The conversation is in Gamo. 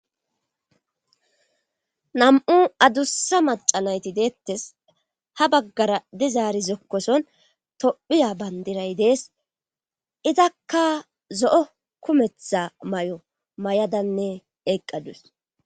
Nam'u adussa maca nayti deettes ha baggara di zaari zokkoson tophiya bandiray dees izakka zo'o kumetha may'o may'adanne eeqqadus